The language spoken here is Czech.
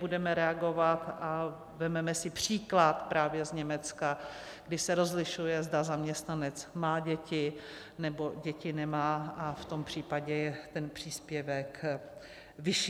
Budeme reagovat a vezmeme si příklad právě z Německa, kde se rozlišuje, zda zaměstnanec má děti, nebo děti nemá, a v tom případě je ten příspěvek vyšší.